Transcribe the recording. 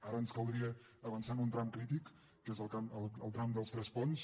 ara ens caldria avançar en un tram crític que és el tram de tresponts